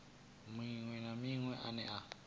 maṅwe na maṅwe ane a